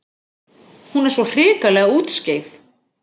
Hún er svo hrikalega útskeif.